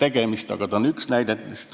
See on üks näidetest.